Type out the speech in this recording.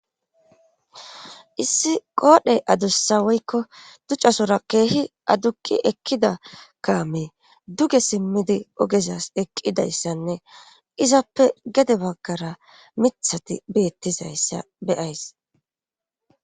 issi qoodhe adussa woykko ducasora keehi adukki ekkida kaame duge simmidi ogezas eqidayssanne izappe gede baggara mithati bettizayssa beyays